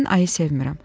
Mən ayı sevmirəm.